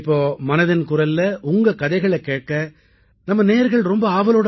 இப்போது மனதின் குரலில் உங்கள் கதைகளைக் கேட்க நமது நேயர்கள் மிக ஆவலோடு காத்திருக்கிறார்கள்